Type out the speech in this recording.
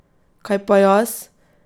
Kaj pa jaz?